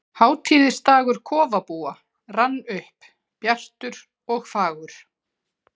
Hátíðisdagur kofabúa rann upp, bjartur og fagur.